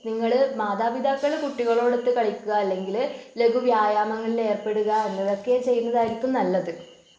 നിങ്ങൾ മാതാപിതാക്കള് കുട്ടികളോടൊത്ത് കളിക്കുക അല്ലെങ്കില് ലഘു വ്യായാമങ്ങളിൽ ഏർപ്പെടുക എന്നിവ ഒക്കെ ചെയ്യുന്നതായിരിക്കും നല്ലത്.